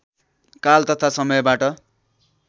काल तथा समयबाट